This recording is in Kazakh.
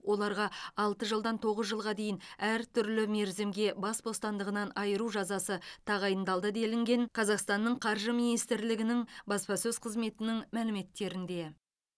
оларға алты жылдан тоғыз жылға дейін әртүрлі мерзімге бас бостандығынан айыру жазасы тағайындалды делінген қазақстанның қаржы мминистрлігінің баспасөз қызметінің мәліметтерінде